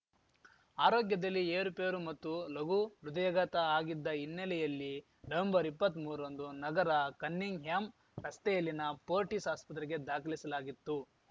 ಆರೋಗ್ಯದಲ್ಲಿ ಏರುಪೇರು ಮತ್ತು ಲಘು ಹೃದಯಾಘಾತ ಆಗಿದ್ದ ಹಿನ್ನೆಲೆಯಲ್ಲಿ ನವಂಬರ್ಇಪ್ಪತ್ಮೂರರಂದು ನಗರ ಕನ್ನಿಂಗ್‌ಹ್ಯಾಂ ರಸ್ತೆಯಲ್ಲಿನ ಫೋರ್ಟಿಸ್‌ ಆಸ್ಪತ್ರೆಗೆ ದಾಖಲಿಸಲಾಗಿತ್ತು